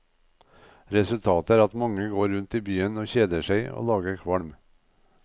Resultatet er at mange går rundt i byen og kjeder seg og lager kvalm.